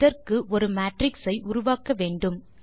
இதற்கு ஒரு மேட்ரிக்ஸ் ஐ உருவாக்க வேண்டும்